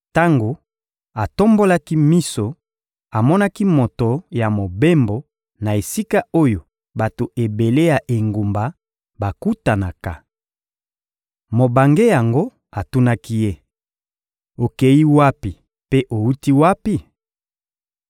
Tango atombolaki miso, amonaki moto ya mobembo na esika oyo bato ebele ya engumba bakutanaka. Mobange yango atunaki ye: — Okeyi wapi mpe owuti wapi?